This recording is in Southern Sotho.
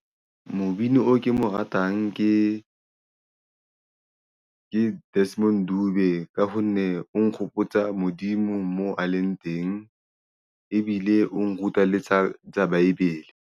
Mobini oo ke mo ratang ke Desmond Dube ka ho nne o nkgopotsa Modimo mo a leng teng ebile o nruta le tsa baebele.